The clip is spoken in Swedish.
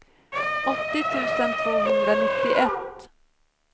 åttio tusen tvåhundranittioett